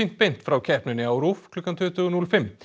beint frá keppninni á RÚV klukkan tuttugu núll fimm